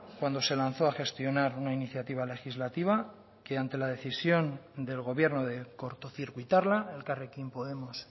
cuando se lanzó a gestionar una iniciativa legislativa que ante la decisión del gobierno de cortocircuitarla elkarrekin podemos